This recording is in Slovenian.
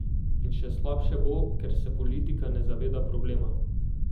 In še slabše bo, ker se politika ne zaveda problema.